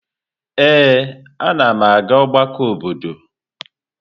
Ee, anam aga ọgbakọ obodo.